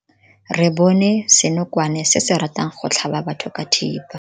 Re bone senokwane se se ratang go tlhaba batho ka thipa.